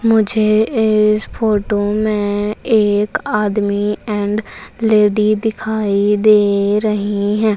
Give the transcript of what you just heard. मुझे इस फोटो में एक आदमी एंड लेडि दिखाई दे रही है।